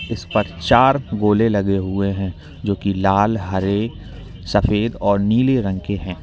इस पर चार गोले लगे हुए हैं जो की लाल हरे सफेद और नीले रंग के हैं।